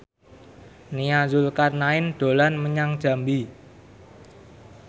Nia Zulkarnaen dolan menyang Jambi